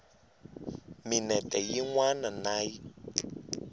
minete yin wana na yin